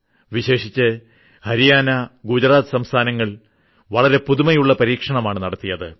വിശേഷിച്ച് ഹരിയാന ഗുജറാത്ത് സംസ്ഥാനങ്ങൾ വളരെ പുതുമയുള്ള പരീക്ഷണമാണ് നടത്തിയത്